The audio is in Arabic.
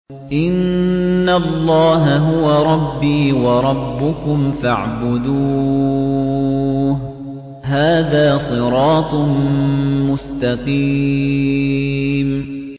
إِنَّ اللَّهَ هُوَ رَبِّي وَرَبُّكُمْ فَاعْبُدُوهُ ۚ هَٰذَا صِرَاطٌ مُّسْتَقِيمٌ